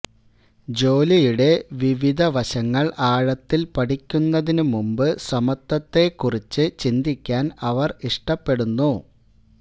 ജോലിയുടെ വിവിധ വശങ്ങള് ആഴത്തില് പഠിക്കുന്നതിന് മുമ്പ് സമത്വത്തെക്കുറിച്ച് ചിന്തിക്കാന് അവര് ഇഷ്ടപ്പെടുന്നു